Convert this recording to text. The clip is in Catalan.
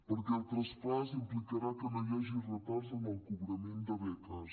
perquè el traspàs implicarà que no hi hagi retards en el cobrament de beques